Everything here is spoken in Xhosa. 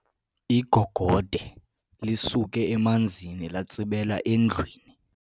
Igogode lisuke emanzini latsibela endlwini.